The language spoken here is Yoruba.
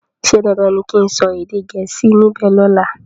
ṣe dandan ní kín sọ èdè Gẹ̀ẹ́sì níbè lola?